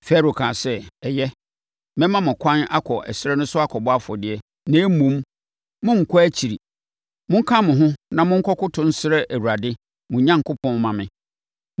Farao kaa sɛ, “Ɛyɛ, mɛma mo ɛkwan akɔ ɛserɛ so akɔbɔ afɔdeɛ, na mmom, monnkɔ akyiri. Monka mo ho na monkɔkoto nsrɛ Awurade, mo Onyankopɔn mma me.”